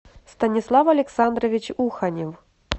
станислав александрович уханев